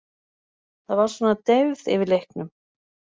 Það var svona deyfð yfir leiknum.